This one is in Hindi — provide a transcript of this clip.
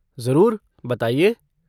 ज़रूर, बताइए।